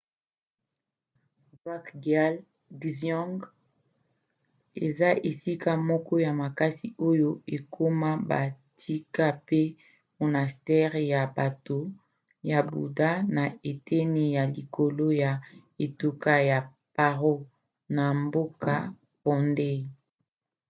drukgyal dzong eza esika moko ya makasi oyo ekoma batika pe monastere ya bato ya buda na eteni ya likolo ya etuka ya paro na mboka phondey